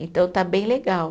Então, está bem legal.